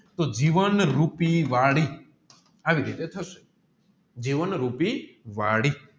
તોહ જીવન રૂપી વળી આવી રીતે ઠસેજીવન રૂપી વળી